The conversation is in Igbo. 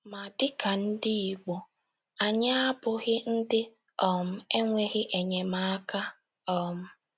Ma dịka ndị Igbo, anyị abụghị ndị um enweghi enyemaka um